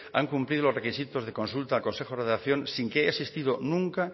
han cumplido los requisitos de consulta al consejo de redacción sin que haya existido nunca